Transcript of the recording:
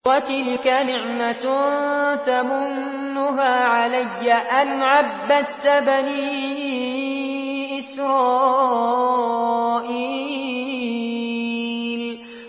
وَتِلْكَ نِعْمَةٌ تَمُنُّهَا عَلَيَّ أَنْ عَبَّدتَّ بَنِي إِسْرَائِيلَ